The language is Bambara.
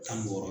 Tan ni wɔɔrɔ